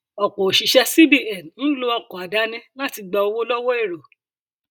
ọpọ òṣìṣẹ cbn ń lo ọkọ àdáni láti gba owó lọwọ èrò